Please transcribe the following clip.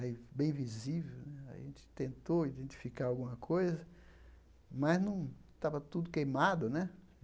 Aí, bem visível né, a gente tentou identificar alguma coisa, mas não... estava tudo queimado, né?